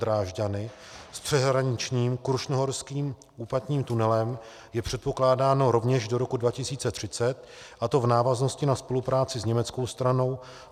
Drážďany s přeshraničním krušnohorským úpatním tunelem je předpokládáno rovněž do roku 2030, a to v návaznosti na spolupráci s německou stranou.